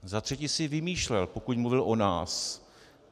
Za třetí si vymýšlel, pokud mluvil o nás.